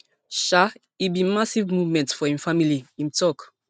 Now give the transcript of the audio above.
um e bin be massive moment for im family im tok